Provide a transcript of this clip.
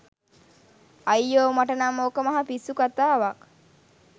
අයියෝ මට නම් ඕක මහ පිස්සු කතාවක්